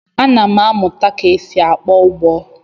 Ana m amụta ka e si akpọ ụbọ.